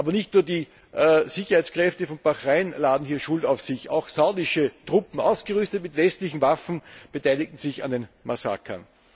Aber nicht nur die Sicherheitskräfte Bahrains laden hier Schuld auf sich, auch saudische Truppen, ausgerüstet mit westlichen Waffen, beteiligten sich an den Massakern.